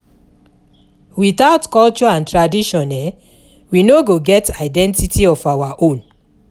Without culture and tradition we no go get identity of our own